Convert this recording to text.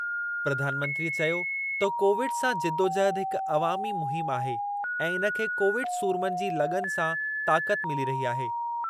प्रधानमंत्रीअ चयो त कोविड सां जिदोजहद हिकु अवामी मुहिमु आहे ऐं इन खे कोविड सूरमनि जी लग़न सां ताक़त मिली आहे।